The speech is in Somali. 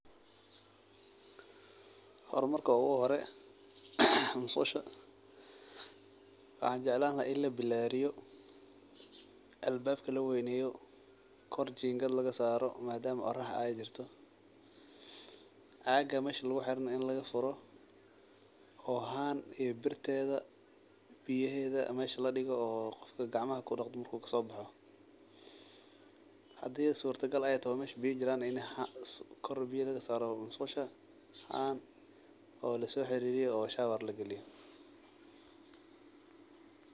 Hormarka uguhore masqusha waxaan jeclaan laha in labilaariyo albaabka loo weneyo kor jiimgad lagasaaro madama ey qorax ey jirto, caga mesha laguxire neh in lagafuro oo han iyo birtedha biyahedha mesha ladigo oo qofka gacmaha kudaqdo markunkasoobaxo, hadi suta gal ey toho mesha biya ey jiraan neh ini kor biya lasaaro masqusha haan lasoxiririyo oo shower lagaliyo.